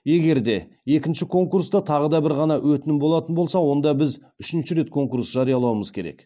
егер де екінші конкурста тағы да бір ғана өтінім болатын болса онда біз үшінші рет конкурс жариялауымыз керек